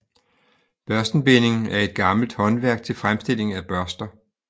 Børstenbinding er et gammelt håndværk til fremstilling af børster